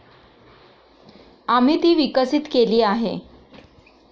आम्ही ती विकसित केली आहे.